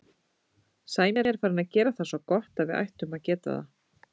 Sæmi er farinn að gera það svo gott að við ættum að geta það.